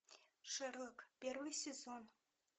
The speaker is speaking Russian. шерлок первый сезон